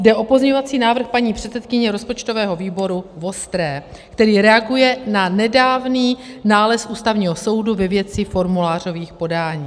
Jde o pozměňovací návrh paní předsedkyně rozpočtového výboru Vostré, který reaguje na nedávný nález Ústavního soudu ve věci formulářových podání.